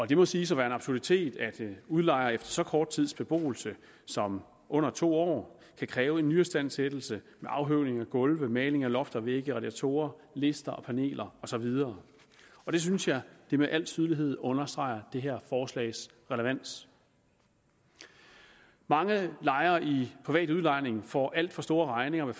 det må siges at være en absurditet at udlejer efter så kort tids beboelse som under to år kan kræve en nyistandsættelse med afhøvling af gulve maling af lofter vægge radiatorer lister paneler og så videre og det synes jeg med al tydelighed understreger det her forslags relevans mange lejere i private udlejninger får alt for store regninger ved